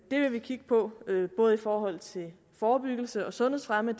vil vi kigge på både i forhold til forebyggelse og sundhedsfremme